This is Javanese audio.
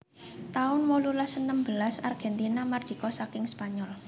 taun wolulas enem belas Argentina mardika saking Spanyol